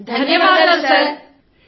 సమూహ స్వరం ధన్యవాదాలు సార్